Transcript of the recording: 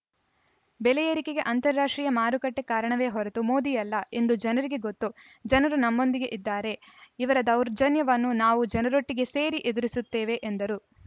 ಬೆಲೆ ಎರಿಕೆಗೆ ಅಂತಾರಾಷ್ಟ್ರೀಯ ಮಾರುಕಟ್ಟೆಕಾರಣವೇ ಹೊರತು ಮೋದಿ ಅಲ್ಲ ಎಂದು ಜನರಿಗೆ ಗೊತ್ತು ಜನರು ನಮ್ಮೊಂದಿಗೆ ಇದ್ದಾರೆ ಇವರ ದೌರ್ಜನ್ಯವನ್ನು ನಾವು ಜನರೊಟ್ಟಿಗೆ ಸೇರಿ ಎದುರಿಸುತ್ತೇವೆ ಎಂದರು